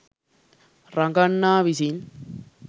රඟන්නා විසින්